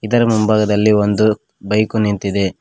ಇದರ ಮುಂಭಾಗದಲ್ಲಿ ಒಂದು ಬೈಕು ನಿಂತಿದೆ.